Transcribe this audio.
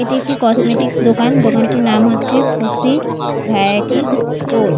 এটি একটি কসমেটিক -স দোকান দোকানটির নাম হচ্ছে খুশি ভ্যারাইটিজ স্টোর ।